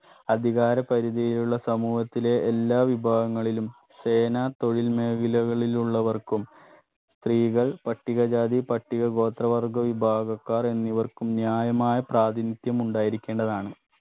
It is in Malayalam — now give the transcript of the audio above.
അധികാര പരിധിയിലുള്ള സമൂഹത്തിലെ എല്ലാ വിഭാഗങ്ങളിലും സേനാ തൊഴിൽ മേഖലകളിലുള്ളവർക്കും സ്ത്രീകൾ പട്ടികജാതി പട്ടികഗോത്ര വിഭാഗക്കാർ എന്നിവർക്കും ന്യായമായ പ്രാധിനിത്യം ഉണ്ടായിരിക്കേണ്ടതാണ്